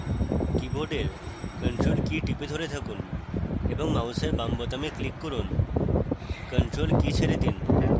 কীবোর্ডের ctrl key টিপে ধরে থাকুন এবং মাউসের বাম বোতামে click করুন ctrl key ছেড়ে দিন